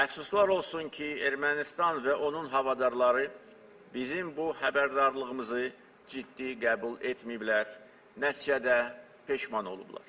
Təəssüflər olsun ki, Ermənistan və onun havadarları bizim bu xəbərdarlığımızı ciddi qəbul etməyiblər, nəticədə peşman olublar.